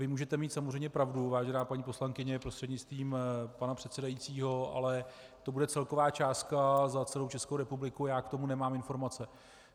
Vy můžete mít samozřejmě pravdu, vážená paní poslankyně prostřednictvím pana předsedajícího, ale to bude celková částka za celou Českou republiku, já k tomu nemám informace.